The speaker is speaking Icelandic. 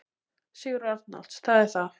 Sigurður Arnalds: Það er það.